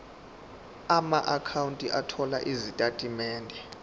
amaakhawunti othola izitatimende